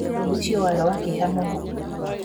Ũndũ ũcio warĩ wa kĩeha mũno.